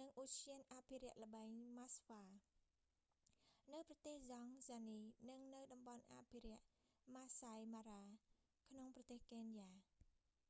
និងឧទ្យានអភិរក្សល្បែងម៉ាស្វា maswa game reserve នៅប្រទេសតង់ហ្សានី និងនៅតំបន់អភិរក្ស maasai mara ម៉ាស្សាយ ម៉ារ៉ា ក្នុងប្រទេសកេនយ៉ា